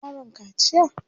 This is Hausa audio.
an ma yaron kaciya?